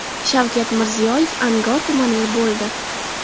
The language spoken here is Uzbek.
Shavkat Mirziyoyev Angor tumanida bo‘ldi.